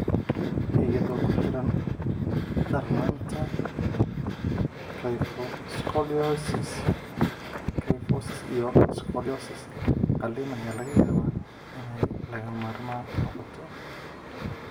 Iyadoo ku xiran darnaanta kyphoscoliosis (kyphosis iyo scoliosis), qalliin ayaa laga yaabaa inay lagama maarmaan noqoto.